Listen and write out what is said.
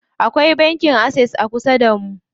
Akwai banki Access a kusa damu.